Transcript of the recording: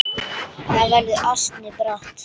Það verður ansi bratt.